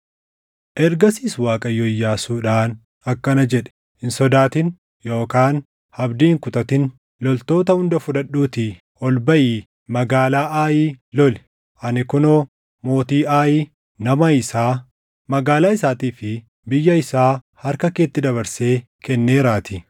Ergasiis Waaqayyo Iyyaasuudhaan akkana jedhe; “Hin sodaatin yookaan abdii hin kutatin. Loltoota hunda fudhadhuutii ol baʼii magaalaa Aayi loli. Ani kunoo mootii Aayi, nama isaa, magaalaa isaatii fi biyya isaa harka keetti dabarsee kenneeraatii.